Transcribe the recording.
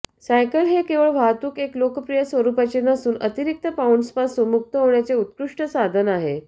cycle हे केवळ वाहतूक एक लोकप्रिय स्वरूपाचे नसून अतिरिक्त पाउंड्सपासून मुक्त होण्याचे उत्कृष्ट साधन आहे